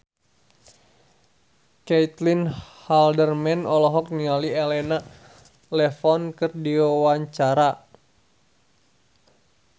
Caitlin Halderman olohok ningali Elena Levon keur diwawancara